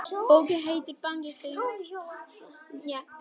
Bókin heitir Bandarískur útlagi